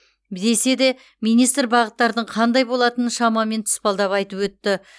десе де министр бағыттардың қандай болатынын шамамен тұспалдап айтып өтті